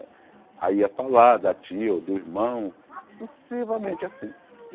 Aí ia falar da tia ou do irmão, sucessivamente assim.